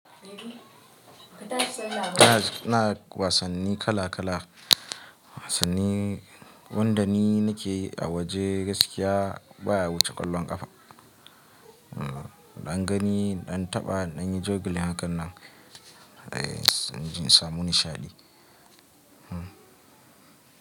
Ina wasanni kala kala, wasanni wanda ni nake a waje gaskiya baya wuce ƙwallon ƙafa. In Dan gani, in dan taɓa, in dan yi jugling hakan nan, in ji in samu nishaɗi.